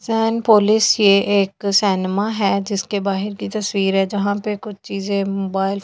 San पोलिस ये एक सैनमा है जिसके बाहर की तस्वीर है जहां पे कुछ चीजें मोबाइल फोन ।